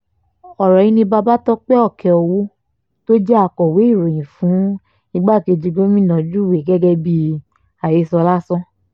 ọ̀rọ̀ yìí ni babatope okeowo tó jẹ́ akọ̀wé ìròyìn fún igbákejì gómìnà júwe gẹ́gẹ́ bíi àhesọ lásán